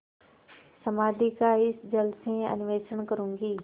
समाधि का इस जल से अन्वेषण करूँगी